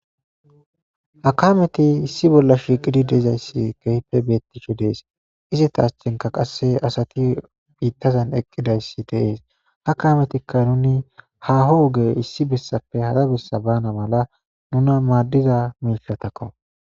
Ha kameti issi bolla shiiqidi dezayssi gehipe beettisho dees iza ta aschenka qasse asati biittazan eqqidayssi deees ha kametikka nuni haho woge issi bessappe hara bessa bana mala nuna maaddiza miishatakko.